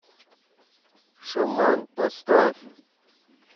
шаман поставь